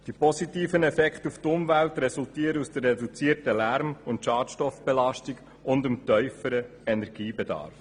Die positiven Effekte auf die Umwelt resultieren aus der reduzierten Lärm- und Schadstoffbelastung sowie dem tieferen Energiebedarf.